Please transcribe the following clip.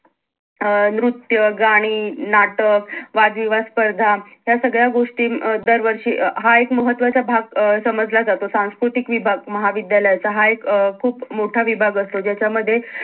अं नित्य, गाणी, नाटक वाद- विवाद स्पर्धा या सगळ्या गोष्टी अं म दर वर्षी अं हा एक महत्वाचा भाग अं समजला जातो सांस्कृतिक विभाग महाविद्यालयाचा हा एक अं खूप मोठा विभाग असतो ज्याच्या मध्ये